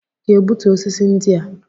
Ị ga-egbutu osisi ndị a?